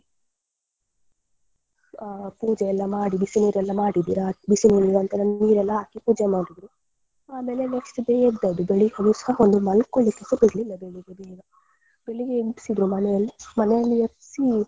ಹಾ ಪೂಜೆಯೆಲ್ಲಾ ಮಾಡಿ ಬಿಸಿ ನೀರೆಲ್ಲ ಮಾಡಿ ಬಿಸಿ ನೀರಿನ ನಂತ್ರ ನೀರೆಲ್ಲ ಹಾಕಿ ಪೂಜೆ ಮಾಡಿದ್ರು ಆಮೇಲೆ next day ಎದ್ದದ್ದು ಬೆಳ್ಳಿಗೆಸ ಒಂದು ಮಲ್ಕೊಳ್ಳಿಕ್ಕೆಸ ಬಿಡ್ಲಿಲ್ಲ ಬೆಳ್ಳಿಗೆ ಬೇಗ ಬೆಳ್ಳಿಗೆ ಎಬ್ಸಿದ್ರು ಮನೆಯಲ್ಲಿ ಮನೆಯಲ್ಲಿ ಎಬ್ಸಿ.